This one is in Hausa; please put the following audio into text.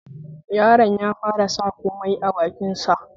Yaron ya fara sa komai a bakin sa